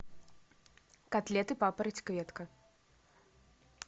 котлеты папараць кветка